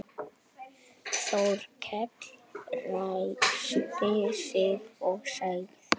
Þórkell ræskti sig og sagði